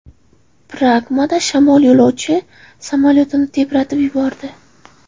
Pragada shamol yo‘lovchi samolyotini tebratib yubordi.